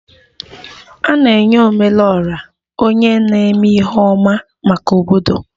A na-enye Ome lu Ora onye na-eme ihe ọma maka obodo